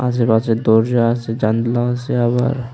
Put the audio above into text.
আশেপাশে দরজা আসে জানলা আসে আবার।